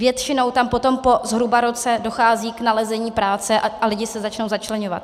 Většinou tam potom po zhruba roce dochází k nalezení práce a lidi se začnou začleňovat.